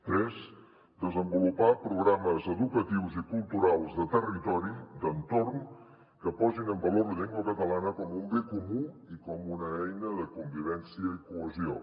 tres desenvolupar programes educatius i culturals de territori d’entorn que posin en valor la llengua catalana com un bé comú i com una eina de convivència i cohesió